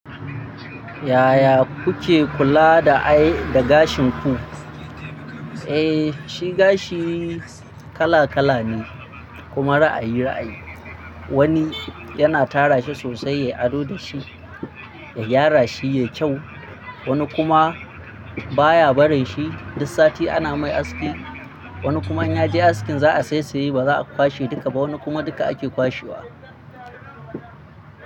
Yaya kuke kula da ai, da gashin ku? Eh shi gashi kala kala ne kuma ra'ayi ra'ayi. Wani yana tara shi sosai yayi ado da shi da gyara shi yayi kyau, wani kuma baya barin shi. Duk sati ana mai aski. Wani kuma in ya je askin za a saisaye ba za a kwashe duka ba, wani kuma duka ake kwashewa.